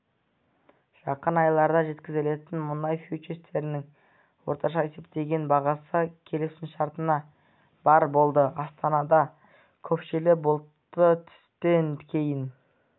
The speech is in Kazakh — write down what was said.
жақын айларда жеткізілетін мұнай фьючерстерінің орташа есептеген бағасы келісімшартына барр болды астанада көшпелі бұлтты түстен кейін